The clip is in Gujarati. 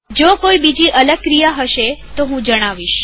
જો કોઈ અલગ ક્રિયા હશે તો હું જણાવીશ